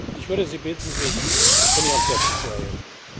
Ich würde Sie bitten, sich von Ihren Plätzen zu erheben.